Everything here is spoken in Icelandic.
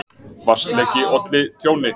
Vatnsleki olli tjóni